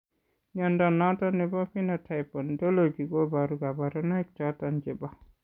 Mnyondo noton nebo Phenotype Ontology koboru kabarunaik choton chebo